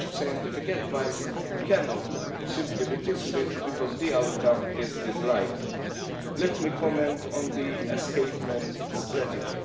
Such scientific advice cannot simply be dismissed because the outcome is disliked. Let me comment on the escapement strategy.